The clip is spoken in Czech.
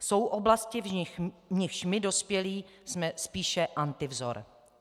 Jsou oblasti, v nichž my dospělí jsme spíše antivzor.